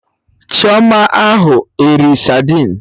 Chioma a ahụ eri sadin